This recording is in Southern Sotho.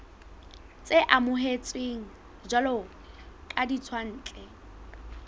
tse amohetsweng jwalo ka ditswantle